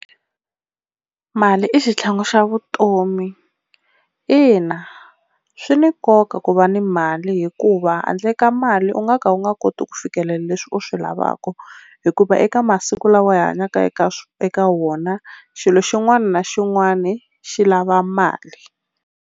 Mali i xitlhangu xa vutomi ina swi ni nkoka ku va ni mali hikuva handle ka mali u nga ka u nga koti ku fikelela leswi u swi lavaka, hikuva eka masiku lawa hi hanyaka eka eka wona xilo xin'wana na xin'wana xi lava mali.